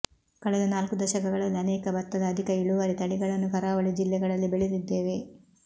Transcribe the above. ಕಳೆದ ನಾಲ್ಕು ದಶಕಗಳಲ್ಲಿ ಅನೇಕ ಭತ್ತದ ಅಧಿಕ ಇಳುವರಿ ತಳಿಗಳನ್ನು ಕರಾವಳಿ ಜಿಲ್ಲೆಗಳಲ್ಲಿ ಬೆಳೆದಿದ್ದೇವೆ